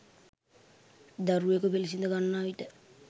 දරුවකු පිළිසිඳ ගන්නා විට